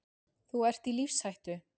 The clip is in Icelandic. Þú ert í lífshættu.